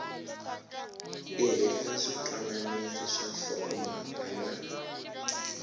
tirhisa switwananisi swa nhlokomhaka na